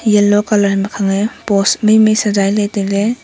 yellow colour ma khang nge post mai mai sejai ley tailey.